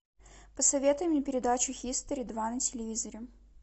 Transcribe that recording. посоветуй мне передачу хистори два на телевизоре